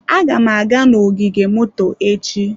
Aga m aga n'ogige moto echi.